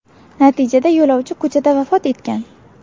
Natijada yo‘lovchi ko‘chada vafot etgan.